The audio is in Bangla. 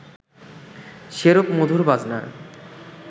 সেরূপ মধুর বাজনা